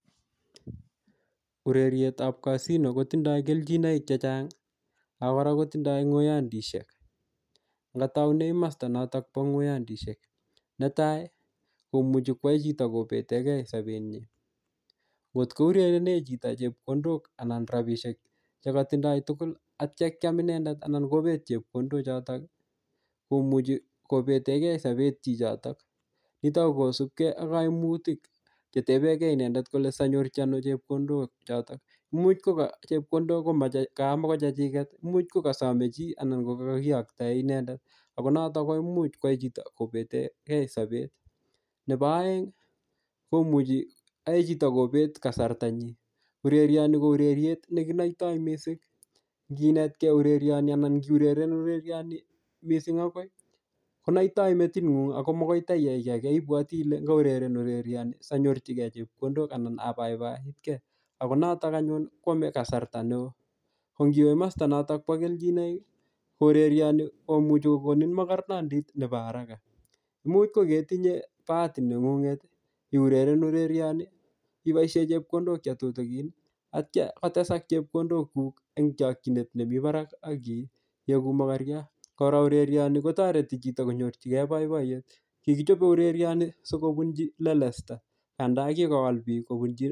Urerietab casino kotindoi keljinoik chechang' akora kotindoi ng'oyondishek ngataune masta notok bo ng'oyondishek netai komuchi kwai chito kopetekei sopetyi atkourerene chito chepkondok anan rapishek chematindoi tugul aityo kiam inendet anan kopet chepkondochotok komuchi kopetekei sopet chichotok nitok ko kosupkei ak kaimutik chetepekei inendet kole sianyorchi ano chepkondok chotok muuch ko ka chepkondok komakochechiket muuch kukasomei chi anan ko kakakiyoktoe inendet konotok komuch kwai chito kopetekei sopet nebo oeng' komuchi oei chito kopet kasartanyi urerioni ko ureriet nekinoitoi mising' nginetkei urerioni anan ngiureren urerioni mising' akoi konoitoi metiting'ung' ako makoi taiyai kii age ibwoti Ile ngiureren urerioni sianyorchigei chepkondok anan apaipaitkei ako notok anyun kwomei kasarta neo ko ngiwe masta notok bo keljinoik ko urerioni komuchei kokonin makornondit nebo haraka muuch kuketinye bahati neng'ung'et iureren urerioni iboishe chepkondok chetutikin atyo kotesak chepkondokuk eng' chokchinet nemi barak akieku mokorio kora urerioni kotoreti chito kanyorchigei boiboiyet kikichope urerioni sikobunji lelesta anda kikowal biik